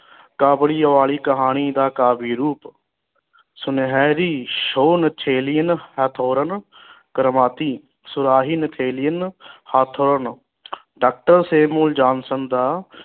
ਕਾਬੂਲੀਵਾਲੀ ਕਹਾਣੀ ਦਾ ਕਾਫੀ ਰੂਪ ਸੁਨਹਿਰੀ ਹਥੋਰਨ ਕਰਮਾਤੀ ਸੁਰਾਹੀ ਹਥੋਰਨ ਡਾਕਟਰ ਦਾ